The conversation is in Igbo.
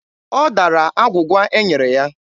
Ọ dara agwụgwa e nyere ya.